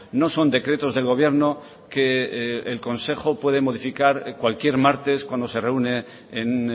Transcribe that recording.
no son decretos del gobierno que el consejo puede modificar cualquier martes cuando se reúne en